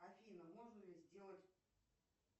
афина можно ли сделать